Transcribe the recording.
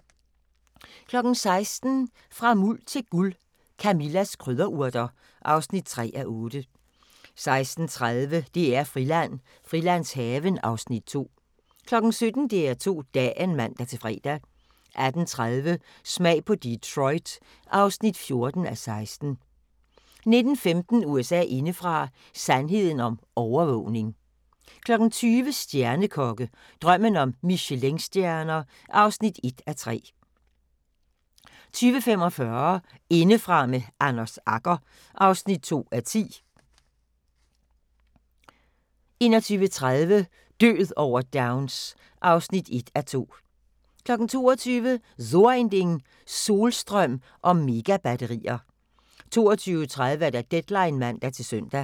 16:00: Fra Muld til Guld – Camillas krydderurter (3:8) 16:30: DR-Friland: Frilandshaven (Afs. 2) 17:00: DR2 Dagen (man-fre) 18:30: Smag på Detroit (14:16) 19:15: USA indefra: Sandheden om overvågning 20:00: Stjernekokke – Drømmen om Michelinstjerner (1:3) 20:45: Indefra med Anders Agger (2:10) 21:30: Død over Downs (1:2) 22:00: So ein Ding: Solstrøm og Megabatterier 22:30: Deadline (man-søn)